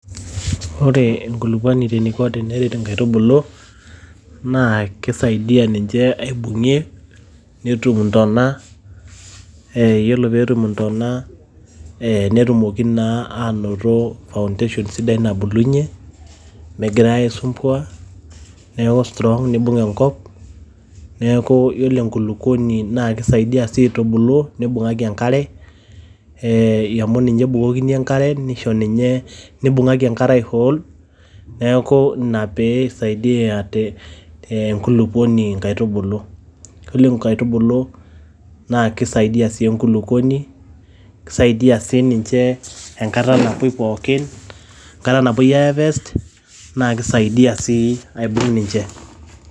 Ore enkulukuoni eniko teneret nkaitubulu naa keisaidia ninche aibung`ie netum intona. Yiolo pee etum ntona netumoki naa aanoto foundation sidai nabulunyie megirai aisumbua niaku strong neibung enkop. Niaku yiolo enkulukuoni naa keisaidia sii naa keisaidia sii aitubulu neibung`aki enkare eeh amu ninye ebukokini enkare neisho ninye ee nibung`aki enkare ai hold niaku ina pee eisaidia te nkulukuoni nkaitubulu. Yiolo nkaitubulu naa keisaidia sii enkulukuoni naa keisaidia sii ninche enkata napuoi pookin, enkata napuoi ai harvest naa kisaidia sii ninche.